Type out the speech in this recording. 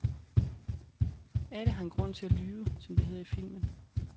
Alle har en grund til at lyve, som det hedder i filmen.